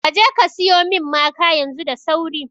Kaje ka siyo min maka yanzu da sauri